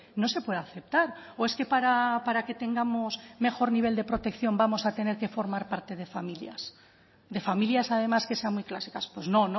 no se puede aceptar o es que para que tengamos mejor nivel de protección vamos a tener que formar parte de familias de familias además que sean muy clásicas pues no